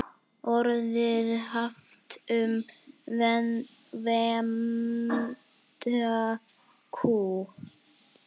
Orðið haft um vembda kú.